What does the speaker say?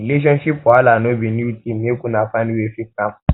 relationship wahala no be new tin make una find way fix am